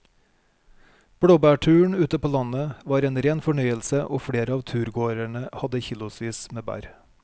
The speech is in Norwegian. Blåbærturen ute på landet var en rein fornøyelse og flere av turgåerene hadde kilosvis med bær.